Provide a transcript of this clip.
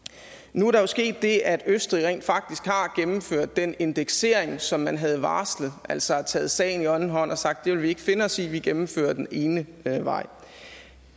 nu er der jo sket det at østrig rent faktisk har gennemført den indeksering som man havde varslet altså taget sagen i egen hånd og har sagt det vil vi ikke finde os i vi gennemfører den ene vej